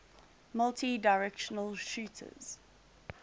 multidirectional shooters